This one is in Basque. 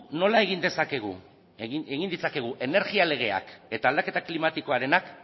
nola egin ditzakegu energia legeak eta aldaketa klimatikoarena